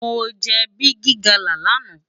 Mó jè bigi gala làná